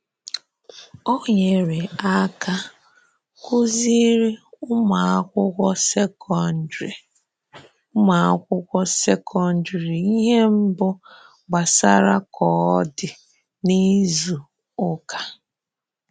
Ọ nyerè aka kụ̀zìrí ụmụ̀akwụkwọ sekọndrị ụmụ̀akwụkwọ sekọndrị ihe mbù gbasàrà kọdì n’izu ụka.